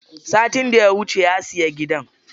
Satin daya wuce ya siya gidan.